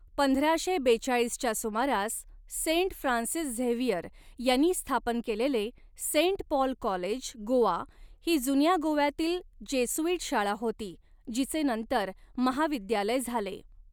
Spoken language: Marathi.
पंधराशे बेचाळीसच्या सुमारास सेंट फ्रान्सिस झेवियर ह्यांनी स्थापन केलेले, सेंट पॉल कॉलेज, गोवा, ही जुन्या गोव्यातील जेसुइट शाळा होती, जिचे नंतर महाविद्यालय झाले.